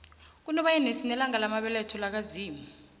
kunobayeni sinelanga lamabeletho laka zimu